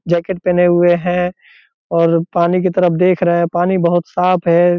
Jacket पहने हुए है और पानी की तरफ देख रहे हैं पानी बहुत साफ है।